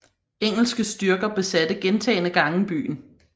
Engelske styrker besatte gentagne gange byen